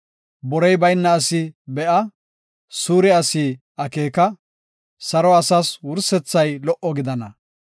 Borey bayna asi be7a; suure asi akeeka; saro asas wursethay lo77o gidana.